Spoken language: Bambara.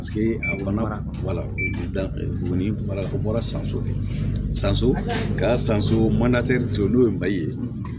a fana bɔra sanso de sanso ka san so n'o ye mali ye